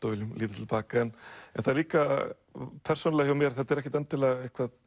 og viljum líta til baka en það er líka persónulega hjá mér þetta er ekkert endilega